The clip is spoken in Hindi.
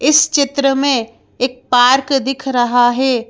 इस चित्र में एक पार्क दिख रहा है।